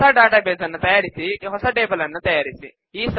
ಹೊಸ database ನ್ನು ತಯಾರಿಸಿಹೊಸ ಟೇಬಲ್ ನ್ನು ತಯಾರಿಸಿ